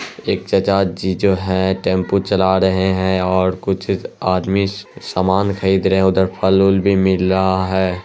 एक चाचा जी जो है टेम्पो चला रहे है और कुछ आदमी सामान खरीद रहे है। उधर फल-वूल भी मिल रहा है।